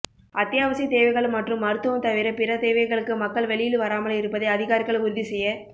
அத்தியாவசிய தேவைகள் மற்றும் மருத்துவம் தவிர பிற தேவைகளுக்கு மக்கள் வெளியில் வராமல் இருப்பதை அதிகாரிகள் உறுதி செய்ய